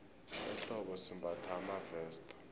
ehlobo simbatha amaveste